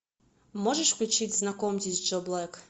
можешь включить знакомьтесь джо блэк